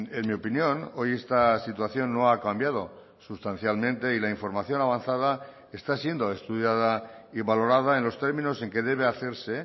en mi opinión hoy esta situación no ha cambiado sustancialmente y la información avanzada está siendo estudiada y valorada en los términos en que debe hacerse